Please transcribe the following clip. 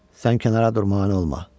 "Sən kənara dur, mane olma.